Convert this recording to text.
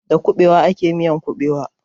Da kuɓewa ake miyar kuɓewa.